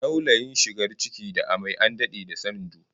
Laulayin shigar ciki da amai an dade da sanin du